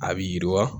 A bi yiriwa